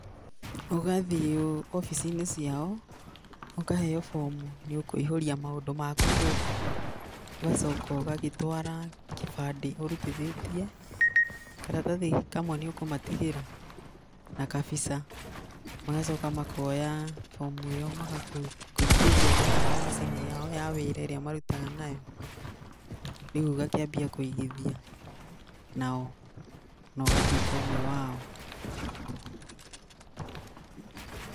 Ũgathiĩ obici-inĩ ciao ũkaheo bomu nĩ ũkũihũria maũndũ maku kĩũmbe. Ũgacoka ũgagĩtwara kĩbandĩ gĩaku ũrutithĩtie, karatathi kamwe nĩ ũkũmatigĩra na kabica. Magoca makoya bomu ĩyo magakũingĩria thĩinĩ wa macini yao ya wĩra ĩrĩa marutaga nayo. Rĩu ũgakĩambia kũigithia nao na ũgatuĩka ũmwe wao.